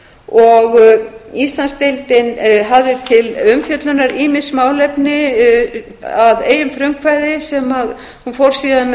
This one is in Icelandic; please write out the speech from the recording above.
og íslandsdeildin hafði til umfjöllunar ýmis málefni að eigin frumkvæði sem hún fór síðan með